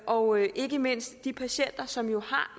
og ikke mindst de patienter som jo har